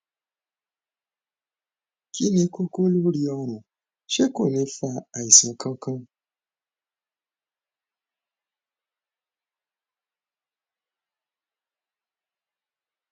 kí ni kókó lórí ọrun ṣé kò ní fa àìsàn kankan